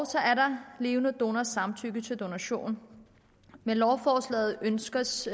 levende donors samtykke til donation med lovforslaget ønskes